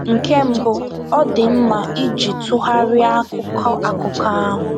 Nke mbụ, ọ dị mma iji ntụgharị akụkọ akụkọ ahụ.